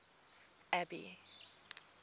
abby